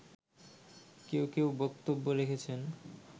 কেউ কেউ বক্তব্য রেখেছেন